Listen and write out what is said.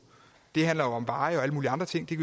det handler jo om veje og alle mulige andre ting det